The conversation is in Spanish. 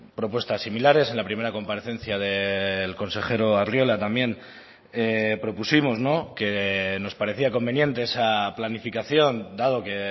propuestas similares en la primera comparecencia del consejero arriola también propusimos que nos parecía conveniente esa planificación dado que